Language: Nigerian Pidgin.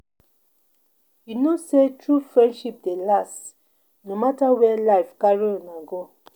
You know sey true friendship dey last no mata where life carry una go.